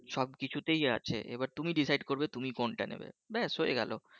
সবকিছুতেই আছে এবার তুমি রসিদে করবে তুমি কোনটা নেবে ব্যাস হয়ে গেল